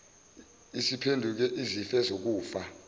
isiphenduke izife zokufa